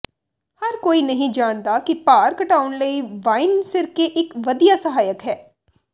ਹਰ ਕੋਈ ਨਹੀਂ ਜਾਣਦਾ ਕਿ ਭਾਰ ਘਟਾਉਣ ਲਈ ਵਾਈਨ ਸਿਰਕੇ ਇਕ ਵਧੀਆ ਸਹਾਇਕ ਹੈ